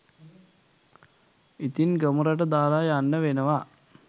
ඉතින් ගමරට දාලා යන්න වෙනවා